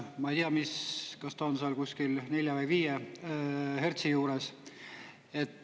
Ma ei tea, kas ta on seal kusagil 4 või 5 hertsi juures.